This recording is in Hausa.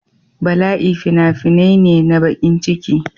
Bala'i fina-finai ne na bakin ciki.